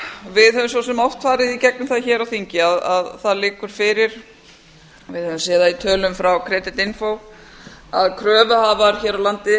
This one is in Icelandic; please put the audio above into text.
við höfum svo sem oft farið í gegnum það hér á þingi að það liggur fyrir við höfum séð það í tölum frá creditinfo að kröfuhafar hér á landi